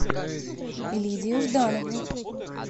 лидию жданову